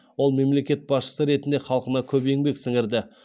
ол мемлекет басшысы ретінде халқына көп еңбек сіңірді